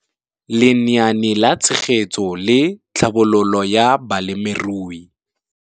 Lenaane la Tshegetso le Tlhabololo ya Balemirui.